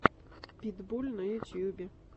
питбуль на ютюбе